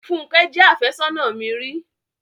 Fúnkẹ́ jẹ́ àfẹ́sónà mi ri.